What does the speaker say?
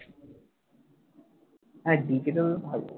হ্যাঁ তে থাকে